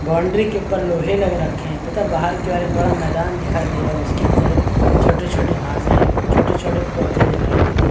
Boundary के उपर लोहे लग रखे हैं तथा बाहर की और एक बड़ा मैदान दिखाई दे रहा है जिसके अंदर छोटे-छोटे घांसे छोटे-छोटे पौधे दिखाई दे रहे हैं।